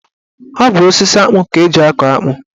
Ọ bụ osisi akpụ ka eji akọ akpụ.